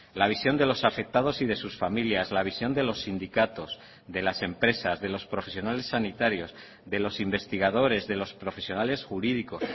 la visión de los afectados y de sus familias la visión de los sindicatos de las empresas de los profesionales sanitarios de los investigadores de los profesionales jurídicos